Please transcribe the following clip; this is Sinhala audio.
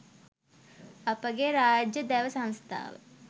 අපගේ රාජ්‍ය දැව සංස්ථාව